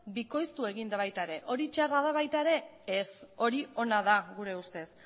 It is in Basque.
bikoiztu egin da baita ere hori txarra da baita ere ez hori ona da gure ustez